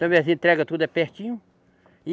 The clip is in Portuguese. Também as entrega tudo é pertinho